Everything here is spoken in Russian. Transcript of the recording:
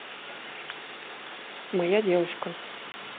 моя девушка